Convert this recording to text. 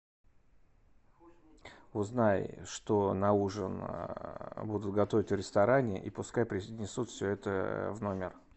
узнай что на ужин будут готовить в ресторане и пускай принесут все это в номер